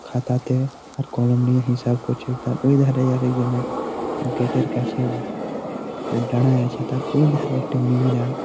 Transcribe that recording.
খাতাতে আর কলম নিয়ে হিসাব করছে ।তারপর এধারে আরেক জনের গেট এর কাছে দাড়ায়ে আছে। তার পরে ও ধারে একটি মেয়রা --